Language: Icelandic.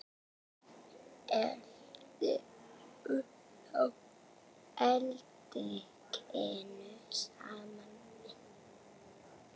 Helltu þá edikinu saman við.